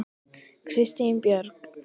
Kristín Björk.